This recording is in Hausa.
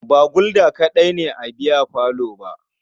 Ba Gulda kaɗai ne a biyafalon ba.